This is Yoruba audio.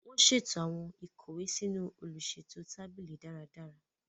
Wọn ṣeto awọn ikọwe sínú oluṣeto tábìlì dáradára.